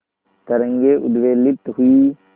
तरंगे उद्वेलित हुई